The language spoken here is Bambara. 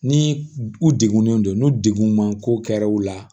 Ni u degunnen don n'u degun man ko kɛra u la